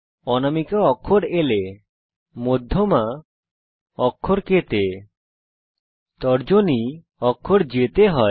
অনামিকা অক্ষর L এ মধ্যমা অক্ষর K তে তর্জনী অক্ষর J এ হয়